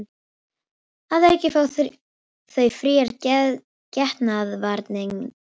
Að auki fá þau fríar getnaðarvarnir